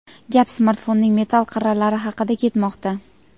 gap smartfonning metall qirralari haqida ketmoqda.